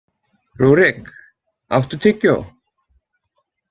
Rúrik, áttu tyggjó?